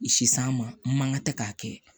Sisan maga tɛ k'a kɛ